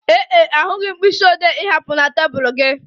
Ee e, ahụghị m mkpịsị ode ị hapụrụ na tebụl gị